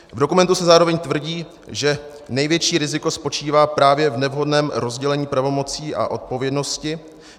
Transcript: V dokumentu se zároveň tvrdí, že největší riziko spočívá právě v nevhodném rozdělení pravomocí a odpovědnosti.